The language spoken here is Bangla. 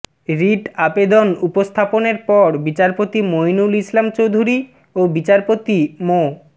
রিট আবেদন উপস্থাপনের পর বিচারপতি মইনুল ইসলাম চৌধুরী ও বিচারপতি মো